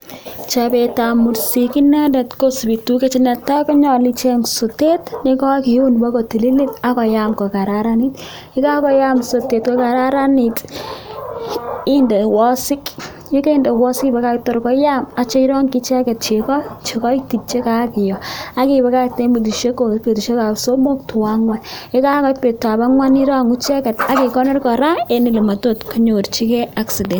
Chabetab mursik inendet kosubi tukuk chechang, netai konyalu icheng sotet nekakiun bakotili akoyam kokararanit, yekakoyam sotet kokararanitu, inde wasik ,yekainde wasik ibakakte koyam yeitya irongyi icheket cheko, chekaitit chekakiyo, akibakakte betushek somok, to angwan yekakoit betutab angwan irongu icheket akirongu kora eng elematot konyorchiken ak sotet.